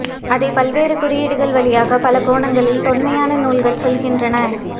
அதை பல்வேறு குறியீடுகள் வழியாக பல கோணங்களில் தொன்மையான நூல்கள் சொல்கின்றன